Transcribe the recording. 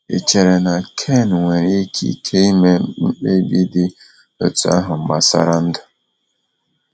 Ị chere na Ken nwere ikike ime mkpebi dị otú ahụ gbasara ndụ?